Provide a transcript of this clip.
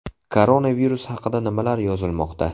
Koronavirus haqida nimalar yozilmoqda ?